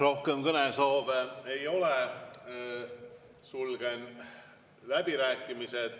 Rohkem kõnesoove ei ole, sulgen läbirääkimised.